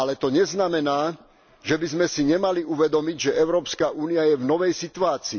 Ale to neznamená, že by sme si nemali uvedomiť, že Európska únia je v novej situácii.